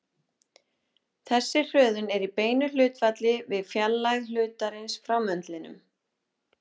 Þessi hröðun er í beinu hlutfalli við fjarlægð hlutarins frá möndlinum.